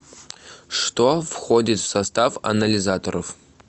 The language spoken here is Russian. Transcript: что входит в состав анализаторов